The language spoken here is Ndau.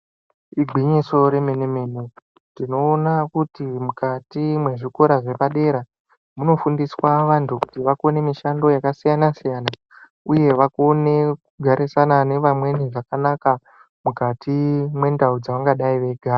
Igwinyiso re mene mene tinoona kuti mukati mwe zvikora zvepadera muno fundiswa vantu kuti vakone mishando yaka siyana siyana uye vakone kugarisana ne vamweni zvakanaka mukati mwe ndau dzavangadai veyigara.